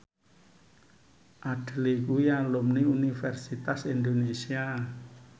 Adele kuwi alumni Universitas Indonesia